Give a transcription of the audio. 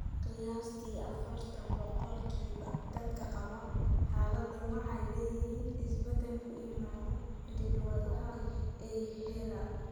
Qiyaastii afartan boqolkiiba dadka qaba xaaladdan waxay leeyihiin isbeddel ku yimaadda hidda-wadaha EYA hal.